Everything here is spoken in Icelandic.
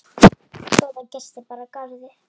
Góða gesti bar að garði.